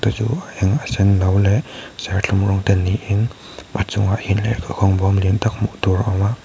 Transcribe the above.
te chu a eng a senno leh serthlum rawng te niin a chungah hian lehkha khawng bawm lian tak hmuh tur a awm a.